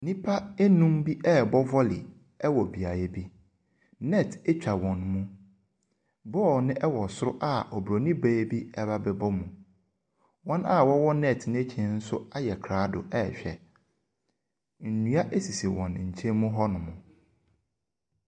Nnipa nnum bi rebɔ volley wɔ beaeɛ bi. Net twa wɔn mu. Ball no wɔ soro a oburoni baa bi reba abɛbɔ mu. Wɔn a wɔwɔ net no akyi no nso ayɛ krado rehwɛ. Nnua sisi wɔn nkyɛn mu hɔnom.